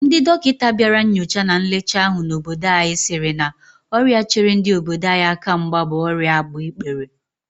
Ndị dọkịta bịara nnyocha na nlecha ahụ n'obodo anyị sịrị na ọrịa chere ndị obodo anyị aka mgba bụ ọrịa agbaikpere